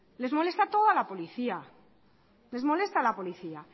les molesta toda policía